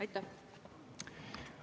Aitäh!